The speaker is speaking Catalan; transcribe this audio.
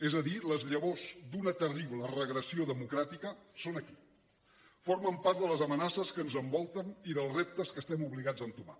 és a dir les llavors d’una terrible regressió democràtica són aquí formen part de les amenaces que ens envolten i dels reptes que estem obligats a entomar